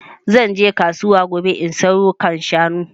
Zan je kasuwa gobe in sayo kan shanu